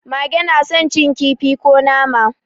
Mage na son cin kifi ko nama.